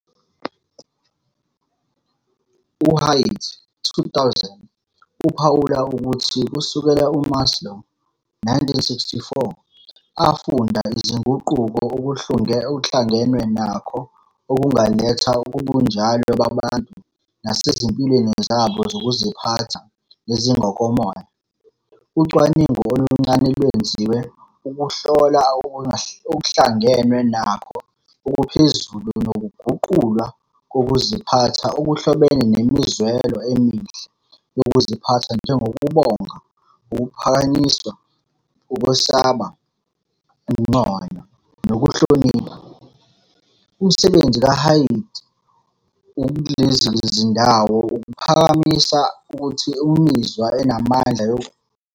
U-Haidt, 2000, uphawula ukuthi kusukela uMaslow, 1964, afunda izinguquko okuhlangenwe nakho okungaletha kubunjalo babantu nasezimpilweni zabo zokuziphatha nezingokomoya, ucwaningo oluncane lwenziwe ukuhlola okuhlangenwe nakho okuphezulu nokuguqulwa kokuziphatha okuhlobene nemizwelo emihle yokuziphatha njengokubonga, ukuphakanyiswa, ukwesaba, ukunconywa, nokuhlonipha. Umsebenzi kaHaidt kulezi zindawo uphakamisa ukuthi imizwa enamandla yokuhlonipha ingahlotshaniswa nokuhlangenwe nakho okuphezulu okuhambisana nokuguqulwa kokuziphatha, lapho, "Izikhathi ezinamandla zokuphakama ngezinye izikhathi zibonakala zicindezela inkinobho yengqondo 'yokubuyisela kabusha,' zisusa imizwa yokugxeka futhi ziyifake esikhundleni semizwa yethemba, uthando, nethemba, kanye nomuzwa wokuphefumulelwa kokuziphatha.